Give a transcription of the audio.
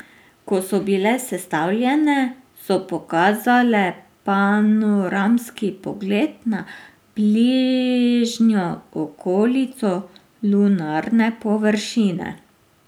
Ko so bile sestavljene, so pokazale panoramski pogled na bližnjo okolico lunarne površine.